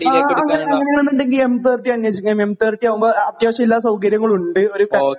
ആ അങ്ങനെയാണെന്ന് ഉണ്ടെങ്കിൽ എം 30 അന്വേഷിക്കാം. എം 30 ആകുമ്പോൾ അത്യാവശ്യം എല്ലാ സൗകര്യങ്ങളുമുണ്ട്, ഒരു